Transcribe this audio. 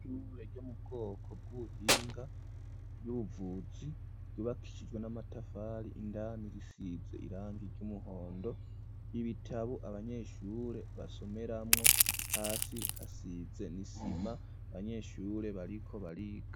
Ishue ryomubwoko bw'ubuhinga by'ubuvuzi ryubakishijwe n'amatafari indani risize irangi ry'umuhondo ibitabu abanyeshure basomeramwo hasi hasize isima abanyeshure bariko bariga.